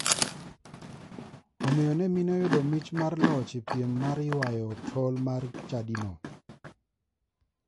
Omiyo ne mine oyudo mich mar loch e piem mar yuayo tol mar chadino.